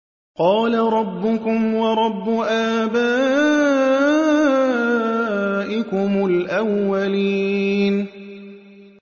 قَالَ رَبُّكُمْ وَرَبُّ آبَائِكُمُ الْأَوَّلِينَ